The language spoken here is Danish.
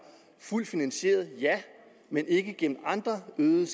fuldt finansieret ja ikke gennem andre øgede